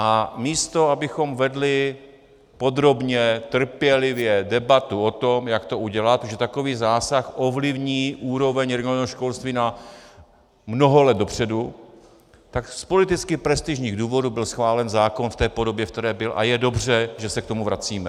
A místo abychom vedli podrobně, trpělivě debatu o tom, jak to udělat, protože takový zásah ovlivní úroveň regionálního školství na mnoho let dopředu, tak z politicky prestižních důvodů byl schválen zákon v té podobě, v které byl, a je dobře, že se k tomu vracíme.